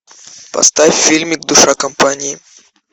поставь фильмик душа компании